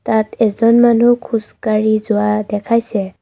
ইয়াত এজন মানুহ খোজকাঢ়ি যোৱা দেখাইছে।